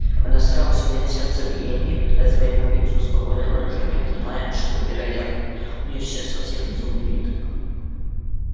она старалась унять сердцебиение и придать своему лицу спокойное выражение понимая что вероятно у неё сейчас совсем безумный вид